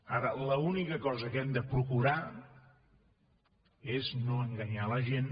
ara l’única cosa que hem de procurar és no enganyar la gent